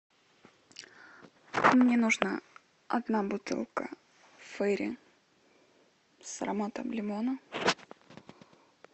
мне нужна одна бутылка фейри с ароматом лимона